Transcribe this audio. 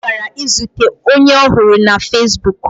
Ọ gara izute onye ọ hụrụ na fezbuk.